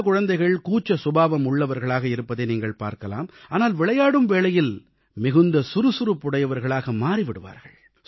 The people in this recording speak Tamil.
பல குழந்தைகள் கூச்ச சுபாவமுள்ளவர்களாக இருப்பதை நீங்கள் பார்க்கலாம் ஆனால் விளையாடும் வேளையில் மிகுந்த சுறுசுறுப்புடையவர்களாக மாறி விடுவார்கள்